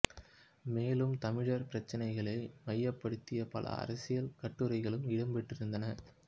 மேலும் தமிழர் பிரச்சினைகளை மையப்படுத்திய பல அரசியல் கட்டுரைகளும் இடம்பெற்றிருந்தன